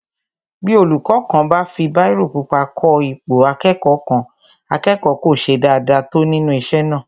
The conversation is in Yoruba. Bí olúkọ́ kan bá fi bírò pupa kọ ipò akẹ́kọ̀ọ́ kan, akẹ́kọ̀ọ́ kò ṣe dáadáa tó nínú isé náà